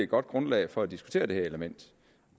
godt grundlag for at diskutere det her element